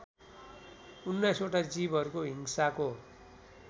उन्नाइसवटा जीवहरूको हिंसाको